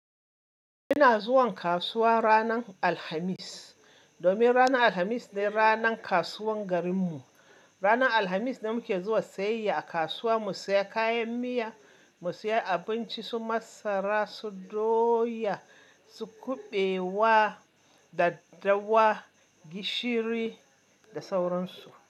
Ina zuwan kasuwa ranar Alhamis, domin ranar Alhamis ne ranan kasuwan garin mu. Ranar Alhamis ne muke zuwa sayayya a kasuwa mu saya kayan miya, mu saya abinci su masara, su doya, su kuɓewa, daddawa, gishiri da sauran su.